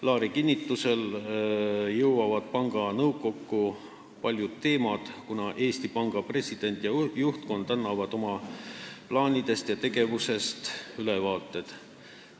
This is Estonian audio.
Laari kinnitusel jõuavad panga nõukokku paljud teemad, kuna Eesti Panga president ja juhtkond annavad oma plaanidest ja tegevusest ülevaateid.